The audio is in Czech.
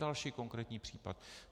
Další konkrétní případ.